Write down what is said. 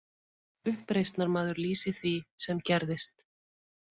Uppreisnarmaður lýsir því sem gerðist